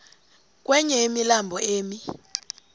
komnye wemilambo emi